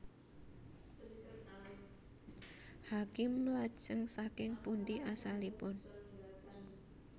Hakim Lajeng saking pundi asalipun